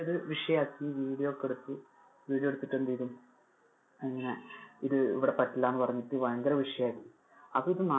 വിഷയം ആക്കി. video ഒക്കെ എടുത്തു video എടുത്തിട്ട് എന്ത് ചെയ്തു ആഹ് ഇങ്ങനെ ഇത് ഇവിടെ പറ്റില്ല എന്ന് പറഞ്ഞിട്ട് ഭയങ്കര വിഷയം ആക്കി അപ്പൊ ഇത് നാ~